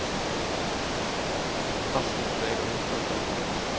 Allt hlýtur að eiga upphafs- og endapunkta?